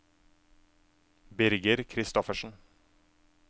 Birger Christoffersen